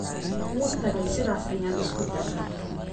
Wuutagey ,sidhas ayan iskudane.